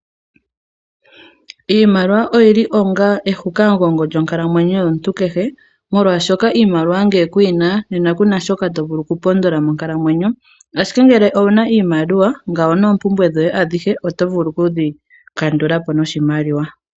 Iimaliwa oyili onga eshikamugongo lyonkalamwenyo yomuntu kehe, moka iimaliwa ngele kuyina nena kuna shoka tovulu okupondola monkalamwenyo, ashike ngele owuna iimaliwa ngawo noompumbwe dhoye oto vulu okudhi kandulapo noshimaliwa.